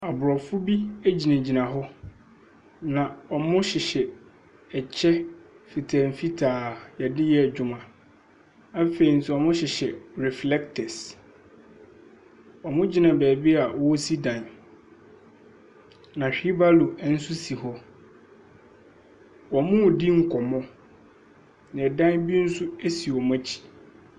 Aborɔfo bi gyinagyina hɔ na wɔhyehyɛ ɛkyɛ mfitamfitaa a yɛde yɛ adwuma. Afei nso wɔhyehyɛ reflecters. Wɔgyina baabi a wɔresi dan no. na wheel barrow nso si hɔ. Wɔredi nkɔmmɔ. na ɛdan bi nso si wɔn akyi.